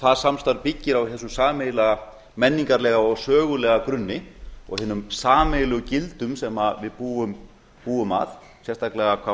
það samstarf byggir á þessum sameiginlega menningarlega og sögulega grunni og hinum sameiginlegu gildum sem við búum að sérstaklega hvað